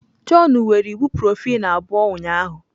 Jọn were ibuprofen abụọ ụnyahụ.